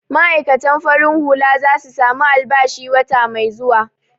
Ma'aikatan farin hula za su samu albashi wata mai zuwa.